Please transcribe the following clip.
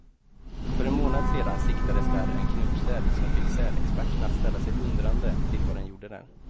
För en månad sedan siktades där en knubbsäl, som fick sälexperterna att ställa sig undrande till vad den gjorde där.